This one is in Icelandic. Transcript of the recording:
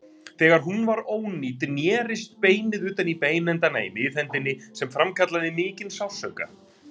Þegar hún var ónýt nerist beinið utan í beinendana í miðhendinni sem framkallaði mikinn sársauka.